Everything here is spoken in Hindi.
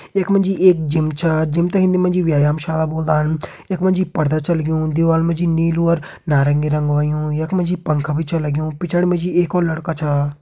यख मा जी एक जिम छा जिम तें हिंदी मा व्यामशाला बोल्दान यख मा जी पर्दा छ लग्युं दीवाल मा जी नीलू अर नारंगी रंग होयुं यख मा जी पंखा भी छ लग्युं पिछड़ी मा जी एक और लड़का छा।